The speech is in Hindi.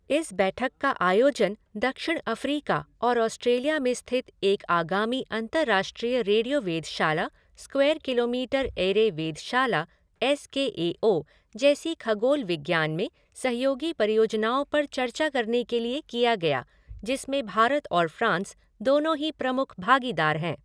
इस बैठक का आयोजन दक्षिण अफ़्रीका और ऑस्ट्रेलिया में स्थित एक आगामी अंतर्राष्ट्रीय रेडियो वेधशाला, स्क्वेयर किलोमीटर एरे वेधशाला एस के ए ओ जैसी खगोल विज्ञान में सहयोगी परियोजनाओं पर चर्चा करने के लिए किया गया, जिसमें भारत और फ़्रांस दोनों ही प्रमुख भागीदार हैं।